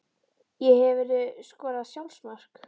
Ég Hefurðu skorað sjálfsmark?